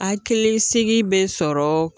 Hakili sigi bɛ sɔrɔ